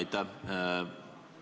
Aitäh!